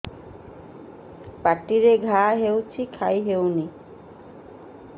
ପାଟିରେ ଘା ହେଇଛି ଖାଇ ହଉନି